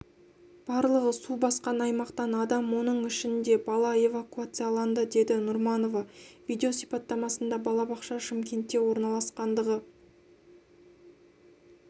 барлығы су басқан аймақтан адам оның ішінде бала эвакуацияланды деді нұрманова видео сипаттамасында балабақша шымкентте орналасқандығы